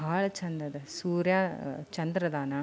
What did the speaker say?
ಬಾಳ ಚಂದ್ ಅದೆ ಸೂರ್ಯ ಚಂದ್ರ ಅದಾನ --